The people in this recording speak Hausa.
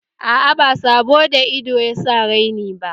Aa, ba sabo da ido yasa raini ba